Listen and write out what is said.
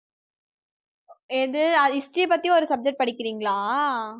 எது history பத்தி ஒரு subject படிக்கிறீங்களா